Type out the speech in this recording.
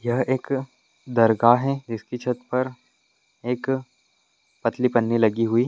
यह एक दरगाह है जिसकी छत पर एक पतली पन्नी लगी हुई--